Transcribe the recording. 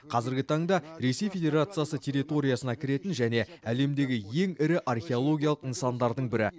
қазіргі таңда ресей федерациясы территориясына кіретін және әлемдегі ең ірі археологиялық нысандардың бірі